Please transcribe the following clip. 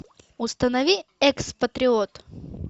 установи экс патриот